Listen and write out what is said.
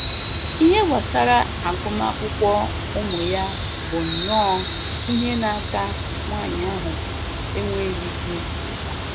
Ihe gbasara agụmakwụkwọ ụmụ ya bụnnọ ihe na-aka nwanyị ahụ enweghị di mkpa